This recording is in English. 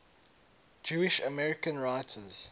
jewish american writers